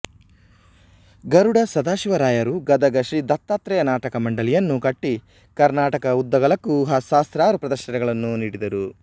ಗರುಡ ಸದಾಶಿವರಾಯರು ಗದಗ ಶ್ರೀ ದತ್ತಾತ್ರೇಯ ನಾಟಕ ಮಂಡಳಿ ಯನ್ನು ಕಟ್ಟಿ ಕರ್ನಾಟಕದ ಉದ್ದಗಲಕ್ಕೂ ಸಹಸ್ರಾರು ಪ್ರದರ್ಶನಗಳನ್ನು ನೀಡಿದರು